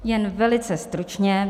Jen velice stručně.